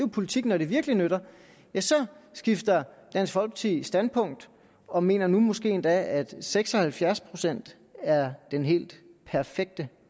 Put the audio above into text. politik når det virkelig nytter så skifter dansk folkeparti standpunkt og mener nu måske endda at seks og halvfjerds procent er den helt perfekte